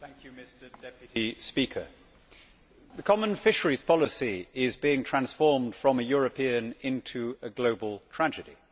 Mr President, the Common fisheries policy is being transformed from a European into a global tragedy